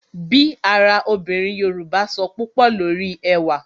Bí ara obìnrin Yoruba sọ púpò lórí ẹwà